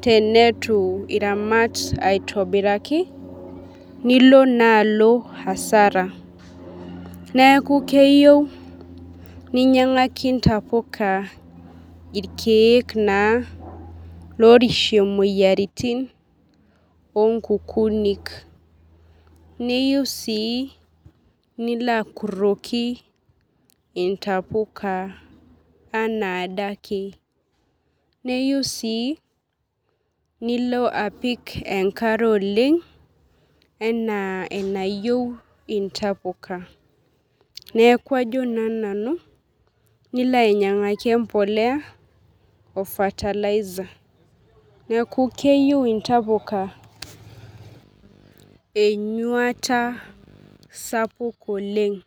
tenitu iramat aitobiraki nilo na alo asara neaku keyieu ninyangaki ntapuka irkiek naa orishie moyiaritin onkukunik neyieu nilo akuroki ntapuka anaadake neyieu si nilo apik enkare oleng ana enayiau intapuka neaku ajo na nanu nilo ainyangaki empolea o fertiliser neaku keyieu intapuka enyuata sapuk oleng.